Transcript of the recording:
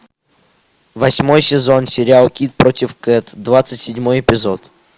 восьмой сезон сериал кид против кэт двадцать седьмой эпизод